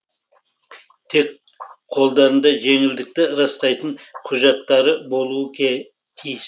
тек қолдарында жеңілдікті растайтын құжаттары болуы тиіс